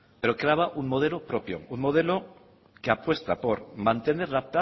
proclama un modelo propio un modelo que apuesta por mantener la